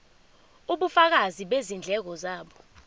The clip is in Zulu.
ubufakazi bezindleko zabo